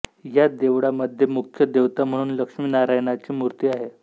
या देवळामध्ये मुख्य देवता म्हणून लक्ष्मी नारायणाची मूर्ती आहे